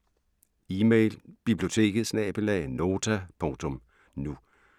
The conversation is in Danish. Email: biblioteket@nota.nu